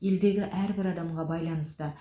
елдегі әрбір адамға байланысты